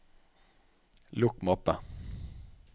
lukk mappe